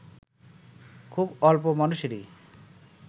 খুব অল্প মানুষেরই